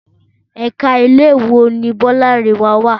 Ẹ̀ka ilé ìwé wo ni Bọ́lárìnwá wá?